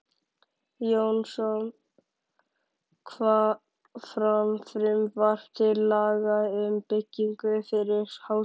Jónsson, fram frumvarp til laga um byggingu fyrir Háskóla